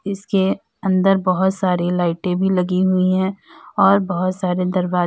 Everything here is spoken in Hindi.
इसके अंदर बहोत सारी लाइटें भी लगी हुई है और बहौत सारे दरवाजे--